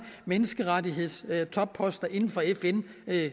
menneskerettighedstopposter inden for fn